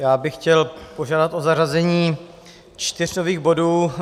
Já bych chtěl požádat o zařazení čtyř nových bodů.